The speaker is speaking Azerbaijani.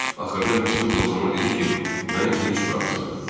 Axırda Miss Duqlas ona dedi ki, məni dinc buraxsın.